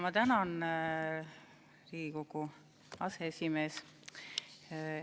Ma tänan, Riigikogu aseesimees!